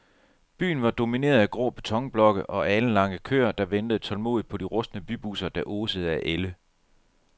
Byen var domineret af grå betonblokke og alenlange køer, der ventede tålmodigt på de rustne bybusser, der osede af ælde.